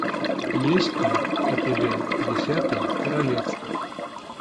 есть ли у тебя десятое королевство